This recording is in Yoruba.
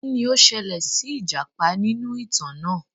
Kini o ṣẹlẹ si ijapa ninu itan naa?